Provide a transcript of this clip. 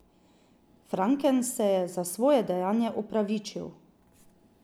Franken se je za svoje dejanje opravičil.